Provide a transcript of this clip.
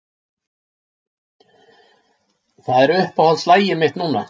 Það er uppáhaldslagið mitt núna.